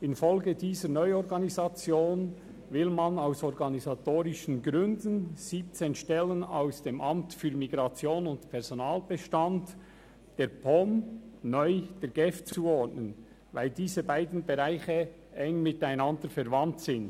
In Folge dieser Neuorganisation will man aus organisatorischen Gründen 17 Stellen aus dem Amt für Migration und Personenstand (MIP) – und damit dem Personalbestand der POM – neu der GEF zuordnen, weil diese beiden Bereiche eng verwandt sind.